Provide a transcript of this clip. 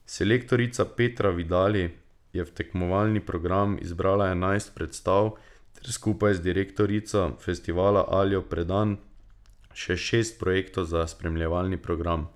Selektorica Petra Vidali je v tekmovalni program izbrala enajst predstav ter skupaj z direktorico festivala Aljo Predan še šest projektov za spremljevalni program.